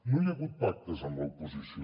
no hi ha hagut pactes amb l’oposició